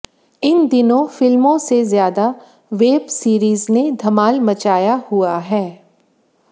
इन दिनों फिल्मों से ज्यादा वेब सीरीज ने धमाल मचाया हुआ है